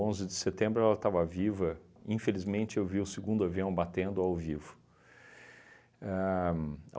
de setembro ela estava viva, infelizmente eu vi o segundo avião batendo ao vivo. Ahn